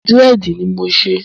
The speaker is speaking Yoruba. Dírẹ̀dì ni mò ń ṣe.